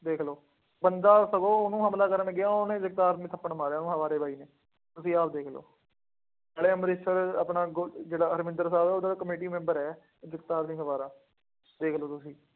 ਦੇਖ ਲਉ, ਬੰਦਾ ਸਗੋਂ ਉਹਨੂੰ ਹਮਲਾ ਕਰਨ ਗਿਆ ਉਹਨੇ ਜਗਤਾਰ ਨੇ ਥੱਪੜ ਮਾਰਿਆ ਉਹਨੂੰ ਹਵਾਰੇ ਬਾਈ ਨੇ, ਤੁਸੀਂ ਆਪ ਦੇਖ ਲਉ। ਨਾਲੇ minister ਆਪਣਾ ਗੋ ਜਿਹੜਾ ਅਰਵਿੰਦਰ ਸਾਹਬ ਹੈ ਉਹਦੇ ਨਾਲ ਕਮੇਟੀ ਮੈਂਬਰ ਹੈ। ਜਗਤਾਰ ਸਿੰਘ ਹਵਾਰਾ, ਦੇਖ ਲਉ ਤੁਸੀਂ।